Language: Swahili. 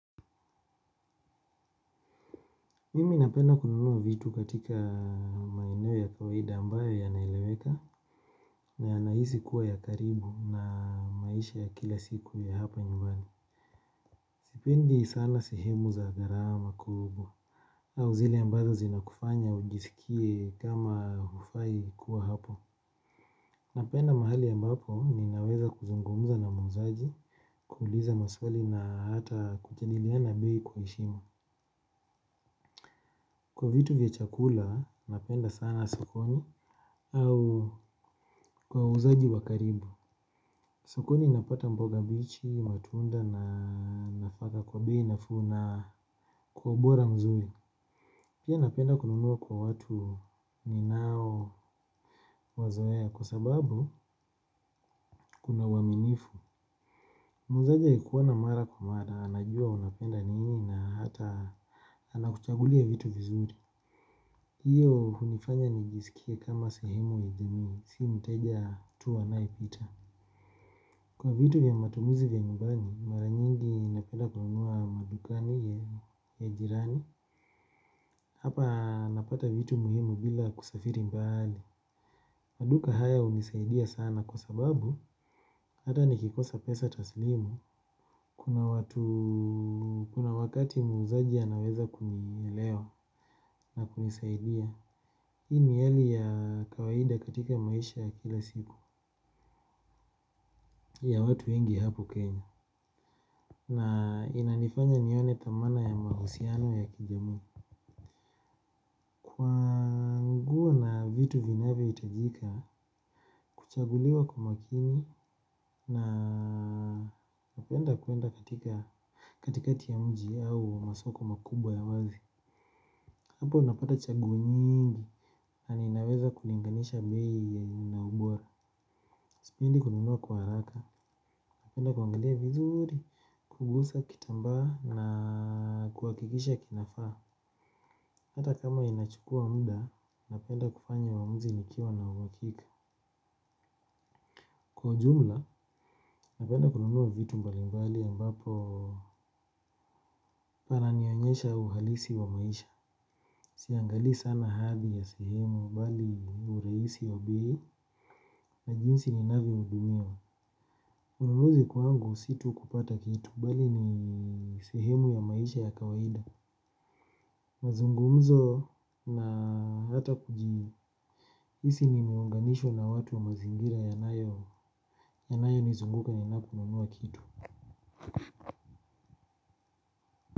Mimi napenda kununua vitu katika maeneo ya kawaida ambayo yanaeleweka na yanahisi kuwa ya karibu na maisha ya kila siku ya hapa nyumbani. Sipendi sana sehemu za gharama kubwa au zile ambazo zinakufanya ujiskie kama hufai kuwa hapo. Napenda mahali ambapo ninaweza kuzungumuza na muuzaji kuuliza maswali na hata kujadiliana bei kwa heshima. Kwa vitu vya chakula napenda sana sokoni au kwa wauzaji wa karibu. Sokoni napata mboga mbichi, matunda na nafaka kwa bei nafuu na kwa ubora mzuri. Pia napenda kununua kwa watu ninaowazoea kwa sababu kuna uaminifu. Muuzaji akikuona mara kwa mara, anajua unapenda nini na hata anakuchagulia vitu vizuri. Iyo hunifanya nijiskie kama sehemu idini, si mteja tu anayepita. Kwa vitu vya matumizi ya nyumbani, mara nyingi napenda kununua madukani ya jirani. Hapa napata vitu muhimu bila kusafiri mbali. Maduka haya hunisaidia sana kwa sababu hata nikikosa pesa taslimu kuna watu, kuna wakati muuzaji anaweza kunielewa na kunisaidia. Hii ni hali ya kawaida katika maisha ya kila siku ya watu wengi hapo kenya. Na inanifanya nione thamana ya mahusiano ya kijamii. Kwa nguo na vitu vinavyohitajika kuchaguliwa kwa makini na napenda kuenda katika katikati ya mji au masoko makubwa ya wazi. Hapo napata chaguo nyingi. Na ninaweza kulinganisha bei ya inaubora. Sipendi kununua kwa haraka. Napenda kuangalia vizuri. Kugusa kitambaa na kuhakikisha kinafaa. Hata kama inachukua muda, napenda kufanya uamuzi nikiwa na uhakika. Kwa jumla, napenda kununua vitu mbali mbali ambapo pananionyesha uhalisi wa maisha. Siangalii sana hali ya sehemu, bali urahisi ya bei. Na jinsi ninavyohudumiwa. Ununuzi kwangu si tu kupata kitu, bali ni sehemu ya maisha ya kawaida. Mazungumzo na hata kujihisi nimeunganishwa na watu wa mazingira yanayo yanayonizunguka ninaponunua kitu.